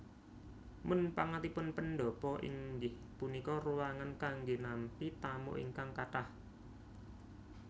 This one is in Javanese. Munpangatipun pendhapa inggih punika ruangan kanggé nampi tamu ingkang kathah